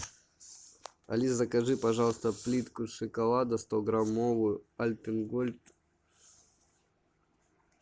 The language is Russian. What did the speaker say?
алис закажи пожалуйста плитку шоколада стограммовую альпен гольд